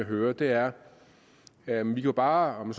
hørt er at man jo bare om